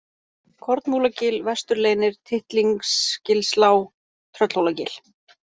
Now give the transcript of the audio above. Kornmúlagil, Vesturleynir, Tittlingsgilslág, Tröllhólagil